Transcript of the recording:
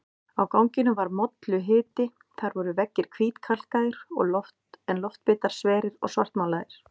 Á ganginum var molluhiti, þar voru veggir hvítkalkaðir en loftbitar sverir og svartmálaðir.